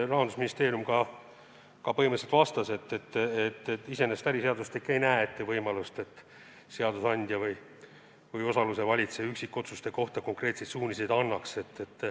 Rahandusministeerium põhimõtteliselt vastas nii, et iseenesest äriseadustik ei näe ette võimalust, et seadusandja või osaluse valitseja üksikotsuste tegemiseks konkreetseid suuniseid annaks.